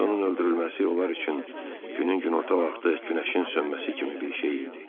İndi onun öldürülməsi onlar üçün günün günorta vaxtı günəşin sönməsi kimi bir şey idi.